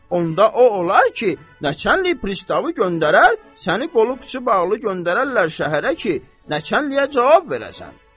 Onda o olar ki, nəçənlik pristavı göndərər, səni qolu qıçı bağlı göndərərlər şəhərə ki, nəçənliyə cavab verəsən.